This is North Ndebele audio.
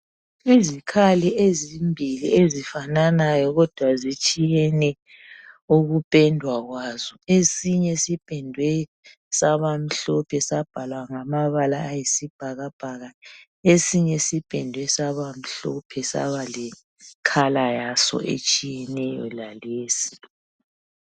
Izikhali ezimbili ezifananayo kodwa zitshiyene ukupendwa kwazo, esinye sipendwe sabamhlophe sabhalwa ngamabala ayisibhakabhaka, esinye sipendwe saba mhlophe saba lombala waso otshiyeneyo lalesi.